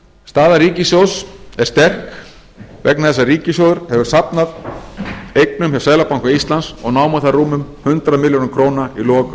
staða ríkissjóðs er sterk vegna þess að ríkissjóður hefur safnað eignum hjá seðlabanka íslands og námu þær rúmum hundrað milljörðum króna í lok